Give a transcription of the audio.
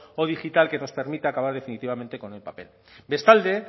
o digital que nos permita acabar definitivamente con el papel bestalde